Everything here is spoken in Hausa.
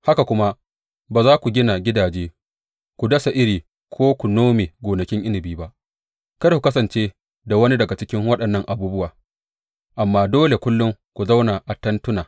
Haka kuma ba za ku gina gidaje, ku dasa iri ko ku nome gonakin inabi ba; kada ku kasance da wani daga cikin waɗannan abubuwa, amma dole kullum ku zauna a tentuna.